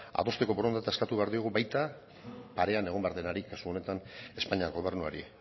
adosteko borondatea eskatu behar diogu baita parean egon behar denari kasu honetan espainiar gobernuari